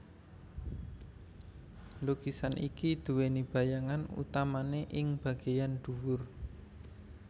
Lukisan iki duweni bayangan utamane ing bageyan dhuwur